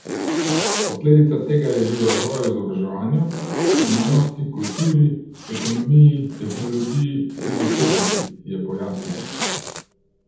Posledica tega je bil razvoj v izobraževanju, znanosti, kulturi, ekonomiji, tehnologiji in estetiki, je pojasnil.